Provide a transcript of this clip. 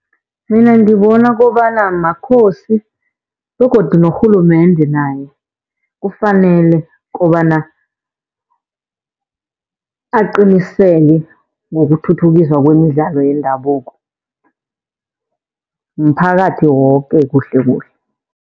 Mina ngibona kobana maKhosi begodu norhulumende naye kufanele kobana aqiniseke ngokuthuthukiswa kwemidlalo yendabuko. Mphakathi woke kuhlekuhle.